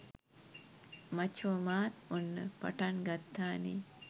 මචෝ මාත් ඔන්න පටන් ගත්තානේ